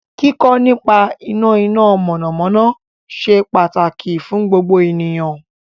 Kíkọ́ nípa iná iná mọ̀nàmọ́ná ṣe pàtàkì fún gbogbo ènìyàn